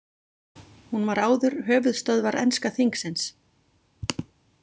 Hún var áður höfuðstöðvar enska þingsins.